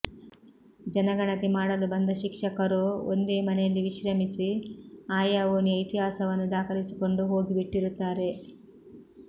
ಜನಗಣತಿ ಮಾಡಲು ಬಂದ ಶಿಕ್ಷಕರೋ ಒಂದೇ ಮನೆಯಲ್ಲಿ ವಿಶ್ರಮಿಸಿ ಆಯಾ ಓಣಿಯ ಇತಿಹಾಸವನ್ನು ದಾಖಲಿಸಿಕೊಂಡು ಹೋಗಿಬಿಟ್ಟಿರುತ್ತಾರೆ